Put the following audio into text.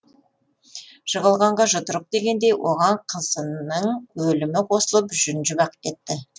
жығылғанға жұдырық дегендей оған қызының өлімі қосылып жүнжіп ақ кетті